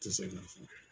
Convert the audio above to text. Tɛ se ka fɔ